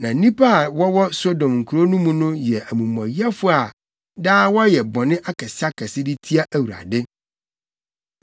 Na nnipa a wɔwɔ Sodom kurow no mu no yɛ amumɔyɛfo a daa wɔyɛ bɔne akɛseakɛse de tia Awurade.